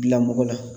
Bila mɔgɔ la